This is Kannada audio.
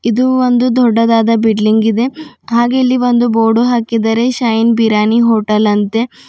ಇದು ಒಂದು ದೊಡ್ಡದಾದ ಬಿಲ್ಡಿಂಗ್ ಇದೆ ಹಾಗೆ ಇಲ್ಲಿ ಒಂದು ಬೋರ್ಡ್ ಹಾಕಿದ್ದಾರೆ ಶೈನ್ ಬಿರಿಯಾನಿ ಹೋಟೆಲ್ ಅಂತೆ.